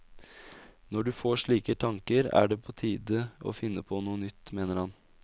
Når du får slike tanker, er det på tide å finne på noe nytt, mener han.